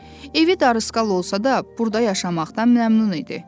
Evi darısqal olsa da, burda yaşamaqdan məmnun idi.